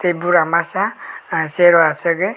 bura masa ah chair asugoi.